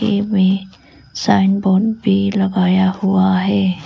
इमें sign board भी लगाया हुआ है।